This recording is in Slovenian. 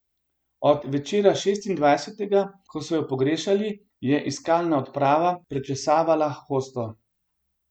Od večera šestindvajsetega, ko so jo pogrešili, je iskalna odprava prečesavala hosto.